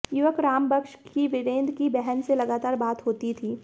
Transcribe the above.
युवक राम बक्श की वीरेंद्र की बहन से लगातार बात होती थी